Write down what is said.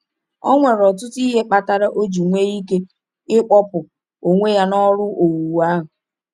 Ọ nwere ọtụtụ ihe kpatara o ji nwee ike ịkpọpụ onwe ya n’ọrụ owuwu ahụ.